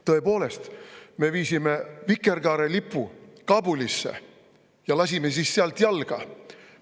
Tõepoolest, me viisime vikerkaarelipu Kabulisse ja lasime siis sealt jalga.